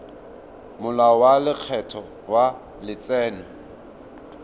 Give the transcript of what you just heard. molao wa lekgetho wa letseno